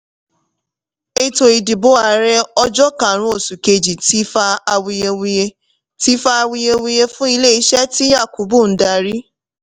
ètò ìdìbò ààrẹ ọjọ́ kárun oṣu kéji ti fa awuyewuye ti fa awuyewuye fún ilẹ iṣẹ́ tí yakubu n darí.